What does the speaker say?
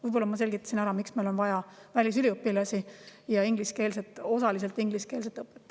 Võib-olla ma selgitasin ära, miks meil on vaja välisüliõpilasi ja osaliselt ingliskeelset õpet.